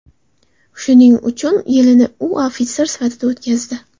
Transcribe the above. Shuning uch yilini u ofitser sifatida o‘tkazdi.